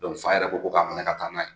fa yɛrɛ ko k'a minɛ ka taa n'a ye.